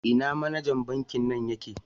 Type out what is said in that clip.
Ina manejan Banki nan ye ke?